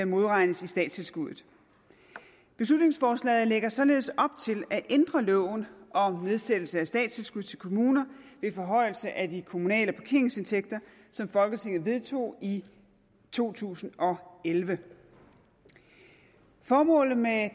modregnes i statstilskuddet beslutningsforslaget lægger således op til at ændre loven om nedsættelse af statstilskud til kommuner ved forhøjelse af de kommunale parkeringsindtægter som folketinget vedtog i to tusind og elleve formålet med